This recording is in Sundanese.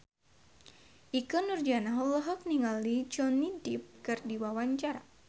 Ikke Nurjanah olohok ningali Johnny Depp keur diwawancara